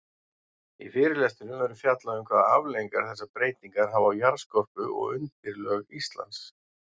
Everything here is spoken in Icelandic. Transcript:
Í fyrirlestrinum verður fjallað um hvaða afleiðingar þessar breytingar hafa á jarðskorpu og undirlög Íslands.